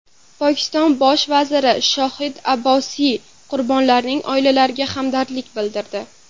Pokiston bosh vaziri Shohid Abbosiy qurbonlarning oilalariga hamdardlik bildirdi.